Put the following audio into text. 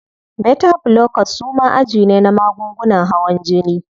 Beta blockers suma aji ne na magungunan hawan jini.